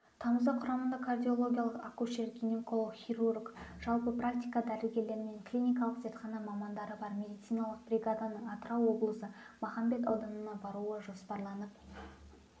тамызда құрамында кардиолог акушер-гинеколог хирург жалпы практика дәрігерлері мен клиникалық зертхана мамандары бар медициналық бригаданың атырау облысы махамбет ауданына баруы жоспарланып